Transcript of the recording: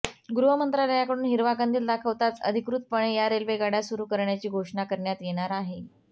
गृहमंत्रालयाकडून हिरवा कंदील दाखवताच अधिकृतपणे या रेल्वे गाड्या सुरू करण्याची घोषणा करण्यात येणार आहे